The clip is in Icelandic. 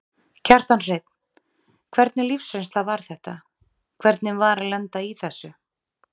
Kjartan Hreinn: Hvernig lífsreynsla var þetta, hvernig var að lenda í þessu?